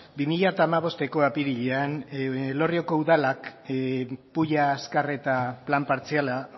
bi mila hamabosteko apirilean elorrioko udalak pulla azkarreta plan partziala